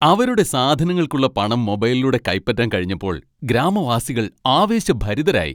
അവരുടെ സാധനങ്ങൾക്കുള്ള പണം മൊബൈലിലൂടെ കൈപ്പറ്റാൻ കഴിഞ്ഞപ്പോൾ ഗ്രാമവാസികൾ ആവേശഭരിതരായി.